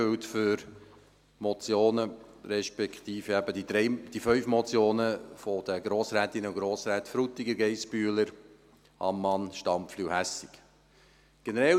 Dies gilt für Motionen, respektive eben die fünf Motionen der Grossrätinnen und Grossräten Frutiger, Geissbühler, Ammann, Stampfli und Hässig .